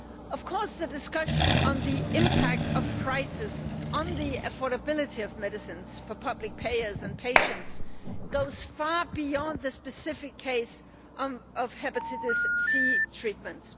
Of course, the discussion on the impact of prices on the affordability of medicines for public payers and patients goes far beyond the specific case of hepatitis C treatments.